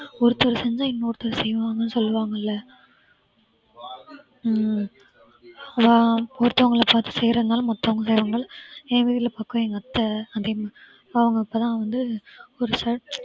ஒருத்தர் செஞ்சா இன்னொருத்தர் செய்வாங்கன்னு சொல்லுவாங்க இல்ல ஹம் அதான் ஒருத்தவங்கள பார்த்து செய்யறதுனால மத்தவங்க எங்க அத்தை அவங்க இப்பதான் வந்து ஒரு